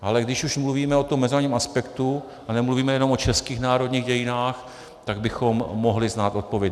Ale když už mluvíme o tom mezinárodním aspektu a nemluvíme jenom o českých národních dějinách, tak bychom mohli znát odpověď.